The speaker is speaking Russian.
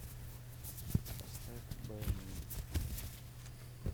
поставь бэни